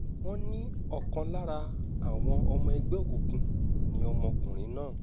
wọ́n ní ọ̀kan lára àwọn ọmọ ẹgbẹ́ òkùnkùn ni ọmọkùnrin náà